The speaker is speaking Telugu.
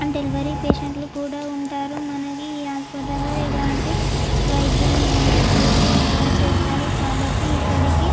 అంటే వేరేయ్ పేషెంట్ లు కూడా ఉంటారు. అంటే ఏ హాస్పెటల్ లో మనకి ఎలాంటి వైద్యం ఐన కూడా ఇక్కడ చేస్తారు. కాబట్టి ఇక్కడికి--